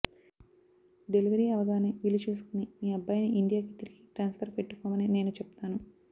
delivery అవ్వగానే వీలు చూసుకుని మీ అబ్బాయిని ఇండియా కి తిరిగి ట్రాన్స్ఫర్ పెట్టుకోమని నేను చెప్తాను